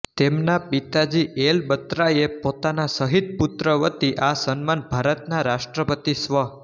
તેમનાં પિતા G L બત્રાએ પોતાના શહીદ પુત્ર વતી આ સન્માન ભારતના રાષ્ટ્રપતિ સ્વ